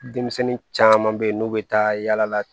Denmisɛnnin caman bɛ yen n'u bɛ taa yala la